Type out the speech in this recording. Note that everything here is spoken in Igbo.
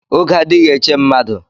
Oge adighi eche mmadu